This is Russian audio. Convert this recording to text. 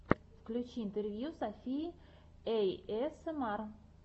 включи интервью софии эйэсэмар